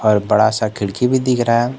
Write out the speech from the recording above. बड़ा सा खिड़की भी दिख रहा--